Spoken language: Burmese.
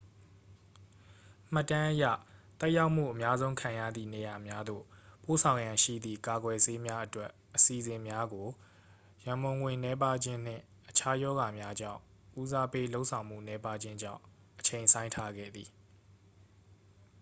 မှတ်တမ်းအရ သက်ရောက်မှု အများဆုံးခံရသည့်နေရာများသို့ ပို့ဆောင်ရန်ရှိသည့် ကာကွယ်ဆေးများအတွက် အစီအစဉ်များကို ရန်ပုံငွေနည်းပါးခြင်းနှင့် အခြားရောဂါများကြောင့် ဦးစားပေးလုပ်ဆောင်မှု နည်းပါးခြင်းကြောင့် အချိန်ဆိုင်းထားခဲ့သည်